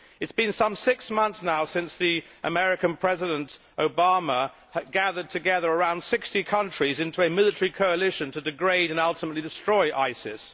It has been some six months now since the American President Obama gathered together around 60 countries into a military coalition to degrade and ultimately destroy ISIS.